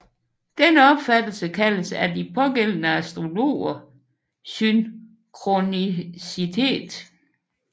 Denne opfattelse kaldes af de pågældende astrologer synkronicitet